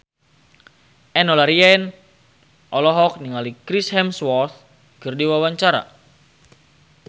Enno Lerian olohok ningali Chris Hemsworth keur diwawancara